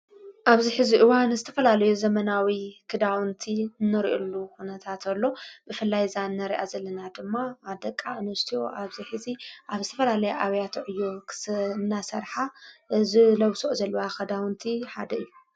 ኣብዚ ሕዚ ዋ ንስተፈላለዩ ዘመናዊ ክዳውንቲ ነርዑሉ ዉነታ እንተሎ ብፍላይ እዛእነ ርያ ዘልና ድማ ኣደቃ እንስትዎ ኣብዚ ሕዚ ኣብ ዝትፈላለይ ኣብያትዕዩ ኽናሠርኃ ዝለውሶኦ ዘልዋ ኽዳውንቲ ሃደ እዩ።